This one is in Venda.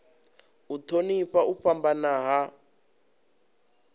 u thonifha u fhambana ha